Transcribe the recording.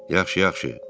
Yaxşı, yaxşı.